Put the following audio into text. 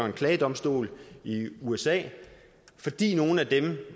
en klagedomstol i usa fordi nogle